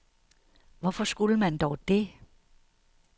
Hvorfor skulle man dog det?